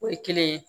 O ye kelen ye